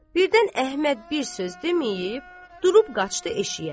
Birdən Əhməd bir söz deməyib durub qaçdı eşiyə.